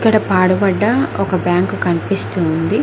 ఇక్కడ ఒక పాడు బండ బ్యాంకు కనిపిస్తూ ఉంది.